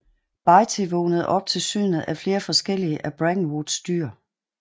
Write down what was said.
Bitey vågnede op til synet af flere forskellige af Brackenwoods dyr